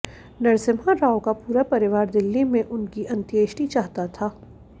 नरसिम्हा राव का पूरा परिवार दिल्ली में उनकी अंत्येष्टि चाहता था